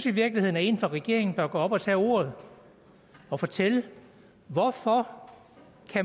i virkeligheden at en fra regeringen bør gå op og tage ordet og fortælle hvorfor